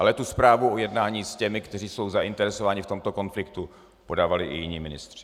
Ale tu zprávu o jednání s těmi, kteří jsou zainteresováni v tomto konfliktu, podávali i jiní ministři.